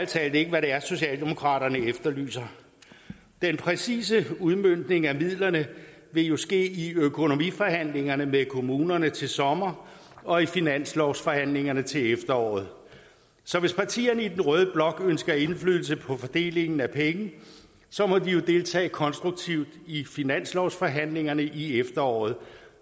talt ikke hvad det er socialdemokraterne efterlyser den præcise udmøntning af midlerne vil jo ske i økonomiforhandlingerne med kommunerne til sommer og i finanslovsforhandlingerne til efteråret så hvis partierne i den røde blok ønsker indflydelse på fordelingen af penge må de jo deltage konstruktivt i finanslovsforhandlingerne i efteråret